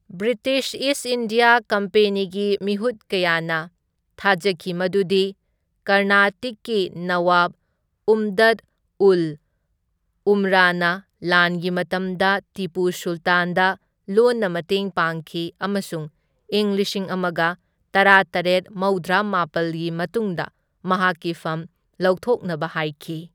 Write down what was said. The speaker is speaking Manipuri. ꯕ꯭ꯔꯤꯇꯤꯁ ꯏꯁ ꯏꯟꯗꯤꯌꯥ ꯀꯝꯄꯦꯅꯤꯒꯤ ꯃꯤꯍꯨꯠ ꯀꯌꯥꯅ ꯊꯥꯖꯈꯤ ꯃꯗꯨꯗꯤ ꯀꯔꯅꯥꯇꯤꯛꯀꯤ ꯅꯋꯥꯕ ꯎꯝꯗꯠ ꯎꯜ ꯎꯝꯔꯥꯅ ꯂꯥꯟꯒꯤ ꯃꯇꯝꯗ ꯇꯤꯄꯨ ꯁꯨꯜꯇꯥꯟꯗ ꯂꯣꯟꯅ ꯃꯇꯦꯡ ꯄꯥꯡꯈꯤ, ꯑꯃꯁꯨꯡ ꯏꯪ ꯂꯤꯁꯤꯡ ꯑꯃꯒ ꯇꯔꯥꯇꯔꯦꯠ ꯃꯧꯗ꯭ꯔꯥꯃꯥꯄꯜꯒꯤ ꯃꯇꯨꯡꯗ ꯃꯍꯥꯛꯀꯤ ꯐꯝ ꯂꯧꯊꯣꯛꯅꯕ ꯍꯥꯢꯈꯤ꯫